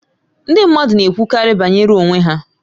Ndị mmadụ na-ekwukarị banyere onwe ha